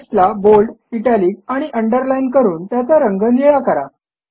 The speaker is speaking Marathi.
टेक्स्टला बोल्ड इटालिक आणि अंडरलाईन करून त्याचा रंग निळा करा